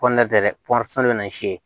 tɛ dɛ bɛ na